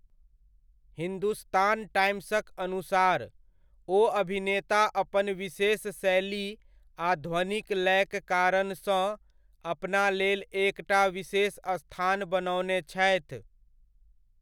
हिंदुस्तान टाइम्सक अनुसार, ओ अभिनेता अपन विशेष शैली आ ध्वनिक लयक कारणसँ अपना लेल एक टा विशेष स्थान बनओने छथि।